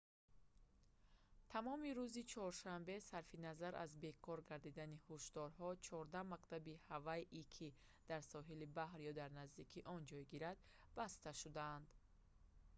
тамоми рӯзи чоршанбе сарфи назар аз бекор гардидани ҳушдорҳо 14 мактаби ҳавайӣ ки дар соҳили баҳр ё дар наздикии он ҷойгиранд баста шуданд